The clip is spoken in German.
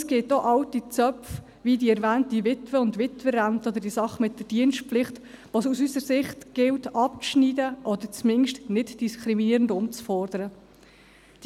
Es gibt auch alte Zöpfe, wie die erwähnte Witwe- und Witwerrente oder die Sache mit der Dienstpflicht, die es aus unserer Sicht abzuschneiden oder mindestens nichtdiskriminierend umzuformen gilt.